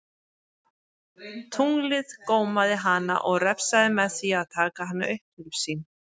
Tunglið gómaði hana og refsaði með því að taka hana upp til sín.